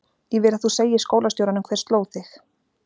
Ég vil að þú segir skólastjóranum hver sló þig.